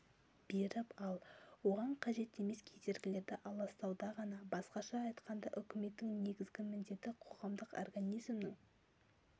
беріп ал оған қажет емес кедергілерді аластауда ғана басқаша айтқанда үкіметтің негізгі міндеті қоғамдық организмнің